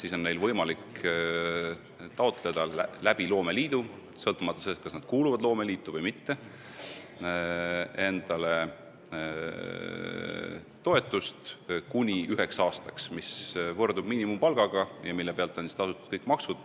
Sõltumata sellest, kas nad kuuluvad loomeliitu või mitte, on neil võimalik loomeliidu kaudu taotleda kuni üheks aastaks toetust, mis võrdub miinimumpalgaga ja mille pealt on tasutud kõik maksud.